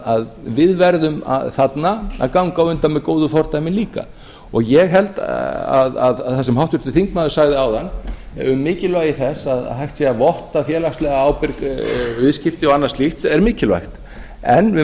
að við verðum þarna að ganga á undan með góðu fordæmi líka og ég held að það sem háttvirtur þingmaður sagði áðan um mikilvægi þess að hægt sé að votta félagslega ábyrg viðskipti og annað slíkt er mikilvægt en við